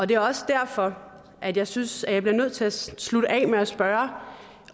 det er også derfor at jeg synes jeg bliver nødt til at slutte af med at spørge